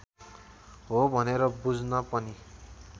हो भनेर बुझ्न पनि